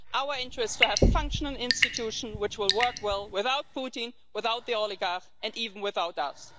Our interest is to have functioning institutions which will work well without Putin, without the oligarchs and even without us.